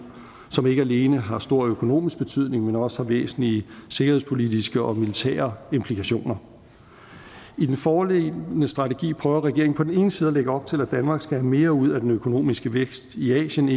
som ikke alene har stor økonomisk betydning men også væsentlige sikkerhedspolitiske og militære implikationer i den foreliggende strategi prøver regeringen på den ene side at lægge op til at danmark skal have mere ud af den økonomiske vækst i asien